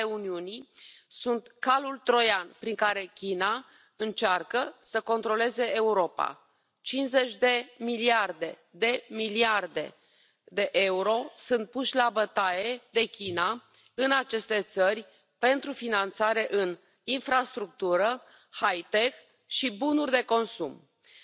und Misshandlungen haben zu statt abgenommen. Wir dürfen nicht wegschauen, wenn Rechtsanwälte und politisch engagierte Bürger weggesperrt werden. Der Zugang zur Autonomen Region Tibet für Ausländer, Journalisten und Diplomaten muss erleichtert werden.